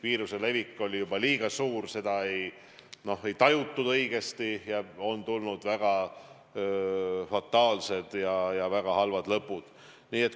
Viiruse levik oli juba liiga suur, seda ei tajutud õigesti, ja on tulnud väga fataalseid ja väga halbu lõppe.